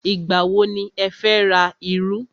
Ìgbà wọ ni ẹ fẹ́ ra iru?